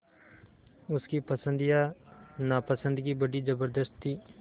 उसकी पसंद या नापसंदगी बड़ी ज़बरदस्त थी